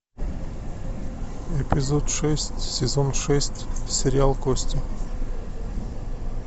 эпизод шесть сезон шесть сериал кости